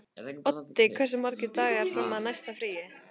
Oddi, hversu margir dagar fram að næsta fríi?